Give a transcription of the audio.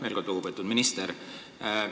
Veel kord, lugupeetud minister!